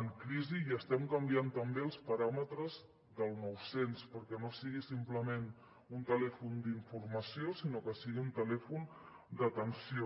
en crisi i estem canviant també els paràmetres del nou cents perquè no sigui simplement un telèfon d’informació sinó que sigui un telèfon d’atenció